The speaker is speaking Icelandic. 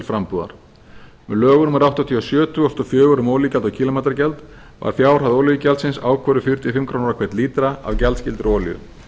frambúðar með lögum númer áttatíu og sjö tvö þúsund og fjögur um olíugjald og kílómetragjald var fjárhæð olíugjaldsins ákvörðuð fjörutíu og fimm krónur á hvern lítra af gjaldskyldri olíu